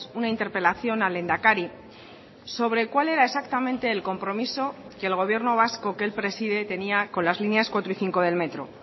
una interpelación al lehendakari sobre cuál era exactamente el compromiso que el gobierno vasco que él preside tenía con las líneas cuatro y cinco del metro